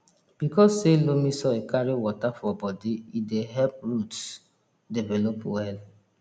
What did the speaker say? because say loamy soil carry water for bodi e dey help roots develop well